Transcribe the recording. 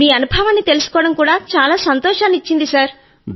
మీ అనుభవాన్ని తెలుసుకోవడం చాలా సంతోషాన్ని ఇచ్చింది సర్